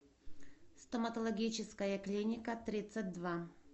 стоматологическая клиника тридцать два